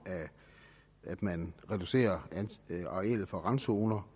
af at man reducerer arealet for randzoner